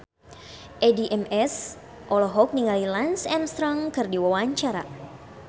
Addie MS olohok ningali Lance Armstrong keur diwawancara